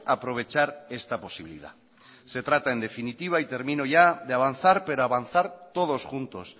aprovechar esta posibilidad se trata en definitiva y termino ya de avanzar pero avanzar todos juntos